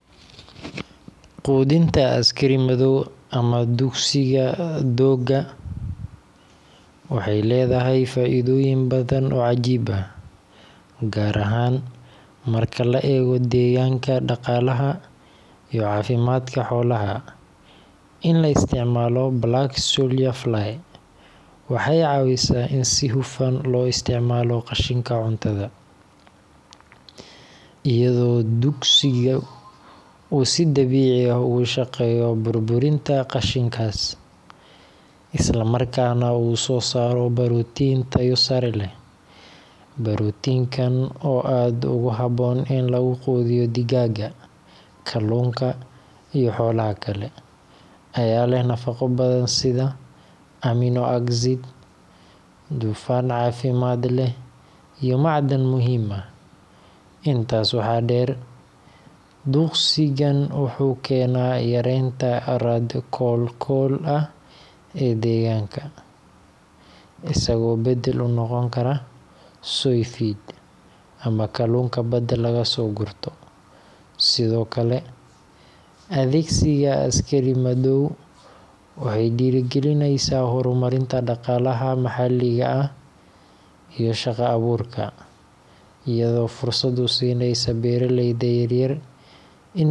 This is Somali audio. Quudinta askari madow, ama duqsiga doogga, waxay leedahay faa’iidooyin badan oo cajiib ah, gaar ahaan marka la eego deegaanka, dhaqaalaha, iyo caafimaadka xoolaha. In la isticmaalo Black Soldier Fly waxay caawisaa in si hufan loo isticmaalo qashinka cuntada, iyadoo duqsigu uu si dabiici ah uga shaqeeyo burburinta qashinkaas, islamarkaana uu soo saaro borotiin tayo sare leh. Borotiinkan oo aad ugu habboon in lagu quudiyo digaagga, kalluunka, iyo xoolaha kale, ayaa leh nafaqo badan sida amino acids, dufan caafimaad leh, iyo macdan muhiim ah. Intaas waxaa dheer, duqsigan wuxuu keenaa yareynta raad koolkool ah ee deegaanka, isagoo beddel u noqon kara soy feed ama kalluunka badda laga soo gurto. Sidoo kale, adeegsiga askari madow waxay dhiirrigelisaa horumarinta dhaqaalaha maxalliga ah iyo shaqo-abuurka, iyadoo fursad u siinaysa beeraleyda yaryar in.